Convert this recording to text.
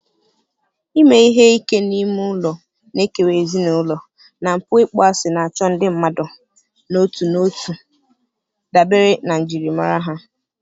ime ihe ike n'ime ụlọ na-ekewa ezinụlọ, na mpụ ịkpọasị na-achọ ndị mmadụ n'otu n'otu dabere na njirimara ha.